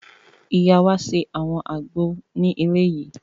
Ìyá wa ṣe àwọn àgbo ní ilé yìí